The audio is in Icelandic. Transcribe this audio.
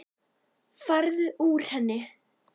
Farðu úr henni.